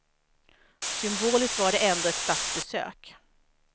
Symboliskt var det ändå ett statsbesök.